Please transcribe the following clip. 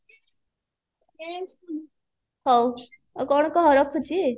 ହଉ ଆଉ କଣ କହ ରଖୁଛି